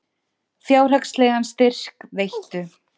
Fjárhagslegan styrk veittu